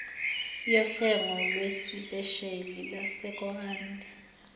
yohlengo lwesiphesheli lwesekondari